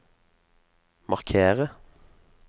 markere